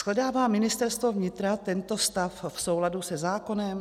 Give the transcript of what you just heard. Shledává Ministerstvo vnitra tento stav v souladu se zákonem?